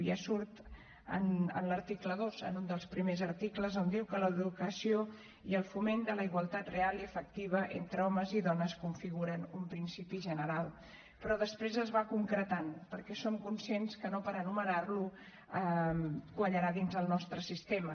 ja surt en l’article dos en un dels primers articles que diu que l’educació i el foment de la igualtat real i efectiva entre homes i dones configuren un principi general però després es va concretant perquè som conscients que no per anomenar lo quallarà dins el nostre sistema